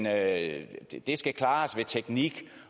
at det skal klares ved teknik